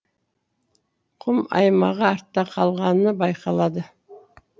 құм аймағы артта қалғаны байқалады